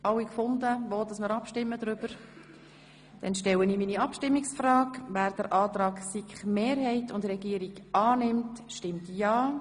Wer dem Antrag der SiKMehrheit folgen will, stimmt ja, wer den Antrag der SiKMinderheit annimmt, stimmt nein.